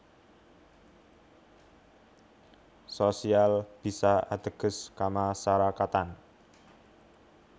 Sosial bisa ateges kamasarakatan